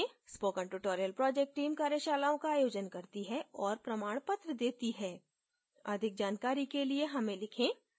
spoken tutorial project team कार्यशालाओं का आयोजन करती है और प्रमाणपत्र देती है अधिक जानकारी के लिए हमें लिखें